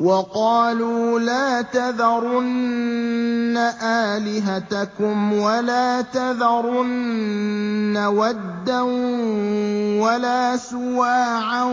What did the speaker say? وَقَالُوا لَا تَذَرُنَّ آلِهَتَكُمْ وَلَا تَذَرُنَّ وَدًّا وَلَا سُوَاعًا